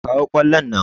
Kawo ƙwallon nan!